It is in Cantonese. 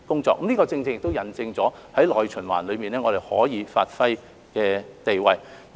這亦引證在內循環中，我們可以發揮的地位。